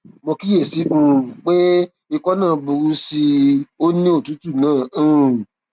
mo kíyèsí i um pé ikọ náà ń burú sí i ó ní òtútù náà um